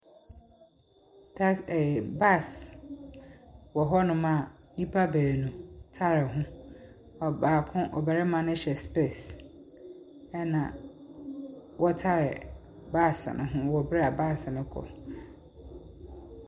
Tas ɛɛɛ bus wɔ hɔnom a nnipa baanu tare ho. Ɔbaako, ɔbarima no hyɛ spairs, ɛna wɔtare bus no ho wɔ bere a bus no rekɔ.